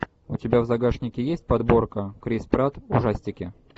у тебя в загашнике есть подборка крис пратт ужастики